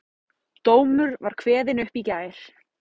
Dómur var kveðinn upp í gær